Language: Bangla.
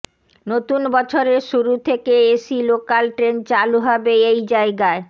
নতুন বছরের শুরু থেকে এসি লোকাল ট্রেন চালু হবে এই জায়গায়